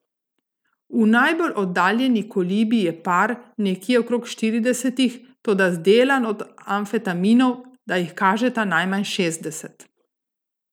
V najbolj oddaljeni kolibi je par, nekje okrog štiridesetih, toda zdelan od amfetaminov, da jih kažeta najmanj šestdeset.